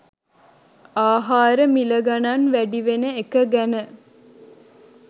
ආහාර මිල ගණන් වැඩිවෙන එක ගැන